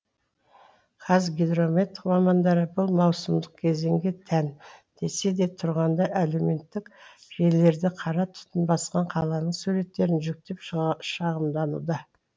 қазгидромет мамандары бұл маусымдық кезеңге тән десе де тұрғындар әлеуметтік желілерде қара түтін басқан қаланың суреттерін жүктеп шағымдануда